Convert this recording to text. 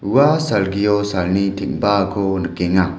ua salgio salni teng·baako nikenga.